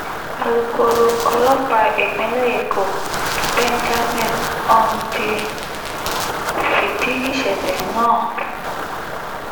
alūkkóró ọlọ́pàá ìpínlẹ̀ èkó benjamin hondyin fìdí ìṣẹ̀lẹ̀ náà